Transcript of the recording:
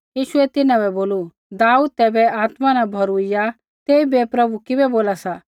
यीशुऐ तिन्हां बै बोलू दाऊद तैबै आत्मा न भौरूइया तेइबै प्रभु किबै बोला सा